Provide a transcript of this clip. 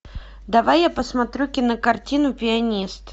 давай я посмотрю кинокартину пианист